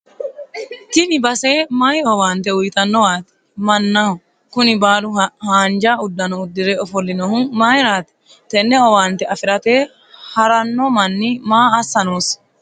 tini base mayii owaante uyiinanniwaati mannaho? kuni baalu haanja uddano uddire ofo'linohu mayiiraati? tenne owaante afirate haranno manni maa assa noosi?